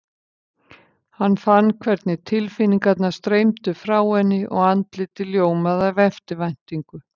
Hann fann hvernig tilfinningarnar streymdu frá henni og andlitið ljómaði af eftirvæntingu.